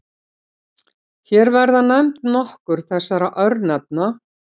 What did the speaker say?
Hér verða nefnd nokkur þessara örnefna.